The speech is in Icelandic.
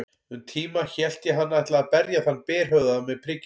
Um tíma hélt ég hann ætlaði að berja þann berhöfðaða með prikinu.